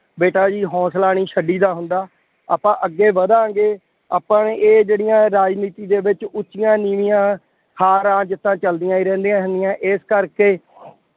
ਬੇਟਾ ਜੀ ਹੌਂਸਲਾ ਨਹੀਂ ਛੱਡੀ ਦਾ ਹੁੰਦਾ। ਆਪਾਂ ਅੱਗੇ ਵਧਾਗੇ। ਆਪਾਂ ਨੇ ਇਹ ਜਿਹੜੀਆਂ ਰਾਜਨੀਤੀ ਦੇ ਵਿੱਚ ਉੱਚੀਆਂ ਨੀਵੀਆਂ, ਹਾਰਾਂ ਜਿੱਤਾਂ, ਚੱਲਦੀਆਂ ਹੀ ਰਹਿੰਦੀਆਂ ਹਨ। ਇਸ ਕਰਕੇ